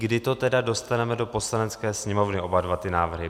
Kdy to tedy dostaneme do Poslanecké sněmovny, oba dva ty návrhy?